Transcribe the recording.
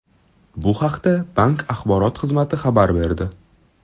Bu haqda bank axborot xizmati xabar berdi .